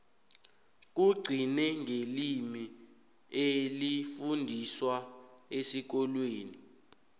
kugcine ngelimi elifundiswa esikolweni